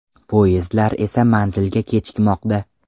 Poyezdlar esa manzilga kechikmoqda.